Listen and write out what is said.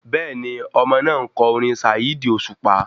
Bẹ́ẹ̀ni, Ọmọ náà ńkọ orin Saheed Osupa